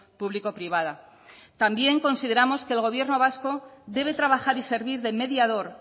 público privada también consideramos que el gobierno vasco debe trabajar y servir de mediador